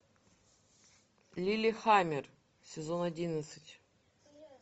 лиллехаммер сезон одиннадцать